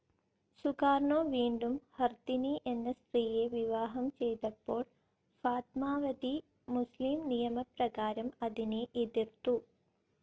Sukarno വീണ്ടും Hartini എന്ന സ്ത്രീയെ വിവാഹം ചെയ്തപ്പോൾ ഫാത്മാവതി, മുസ്ലിം നിയമപ്രകാരം അതിനെ എതിർത്തു.